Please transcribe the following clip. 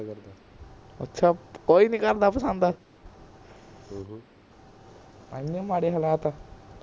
ਐਨੇ ਮਾੜੇ ਹਲਾਤ